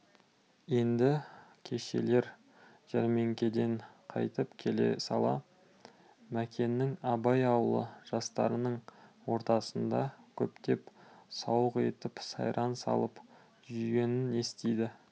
енді кешелер жәрмеңкеден қайтып келе сала мәкеннің абай ауылы жастарының ортасында көптен сауық етіп сайран салып жүргенін естиді